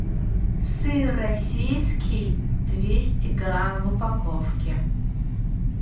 сыр российский двести грамм в упаковке